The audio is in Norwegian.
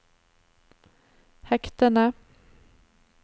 hektene